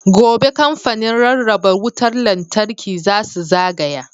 Gobe, Kamfanin Rarraba Wutar Lantarki za su zagaya.